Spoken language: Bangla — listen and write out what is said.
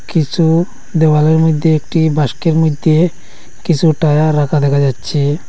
কিসু দেওয়ালের মধ্যে একটি বাস্কের মধ্যে কিসু টায়ার রাখা দেখা যাচ্ছে।